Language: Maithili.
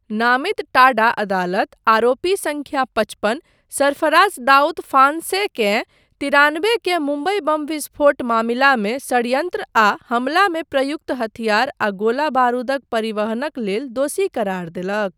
नामित टाडा अदालत आरोपी संख्या पचपन, सरफराज दाऊद फांसेकेँ ' तिरानबे के मुम्बइ बम विस्फोट मामिलामे षड्यन्त्र आ हमला मे प्रयुक्त हथियार आ गोला बारूदक परिवहनक लेल दोषी करार देलक।